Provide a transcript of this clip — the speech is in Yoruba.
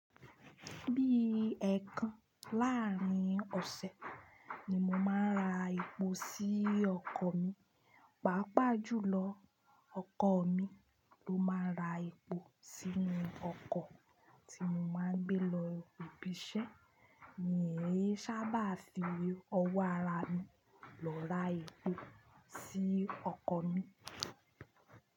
Bí ẹ̀kan láàárín ọ̀sẹ̀ ni mo máa ń ra epo sí ọkọ̀ mi, pàápàá jùlọ ọkọ̀ mi ló máa ń ra epo sínú ọkọ̀ tí mo máa ń gbé lọ ibi iṣẹ́, mí o ní sábà fi owó ara mi lọ ra epo sí ọkọ̀ mi.